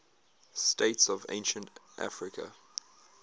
states of ancient africa